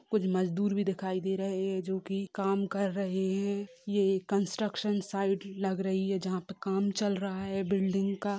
कुछ मज़दूर भी दिखाई दे रहे है जो की काम क्र रहे है ये कन्ट्रक्सन साईट लग रही है जहां पर काम चल रहा है बिल्डिंग का--